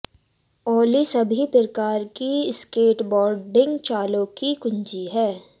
ओली सभी प्रकार की स्केटबोर्डिंग चालों की कुंजी है